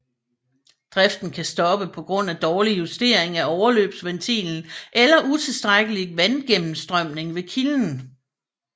Driften kan stoppe på grund af dårlig justering af overløbsventilen eller utilstrækkelig vandgennemstrømning ved kilden